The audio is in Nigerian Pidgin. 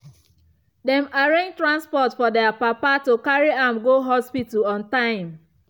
dem arrange transport for their papa to carry am go hospital on time.